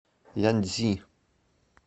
яньцзи